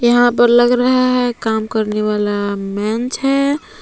यहां पर लग रहा है काम करने वाला मंच है।